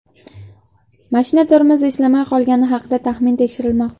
Mashina tormozi ishlamay qolgani haqidagi taxmin tekshirilmoqda.